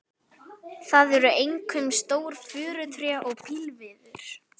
Það eru einkum stór furutré og pílviður.